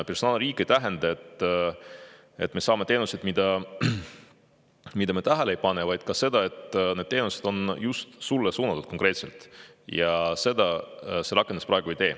Personaalriik ei tähenda seda, et me saame teenuseid, mida me tähele ei pane, vaid ka seda, et need teenused on just konkreetselt meile suunatud, ja seda see rakendus praegu ei tee.